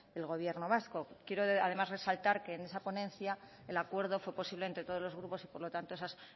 el gobierno vasco quiero además resaltar que en esa ponencia el acuerdo fue posible entre todos los grupos y por lo tanto esas